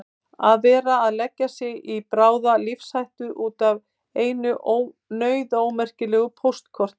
Að vera að leggja sig í bráða lífshættu út af einu nauðaómerkilegu póstkorti!